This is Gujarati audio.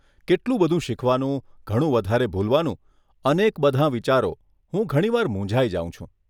કેટલું બધું શીખવાનું, ઘણું વધારે ભૂલવાનું, અનેક બધાં વિચારો, હું ઘણીવાર મૂંઝાઈ જાઉં છું.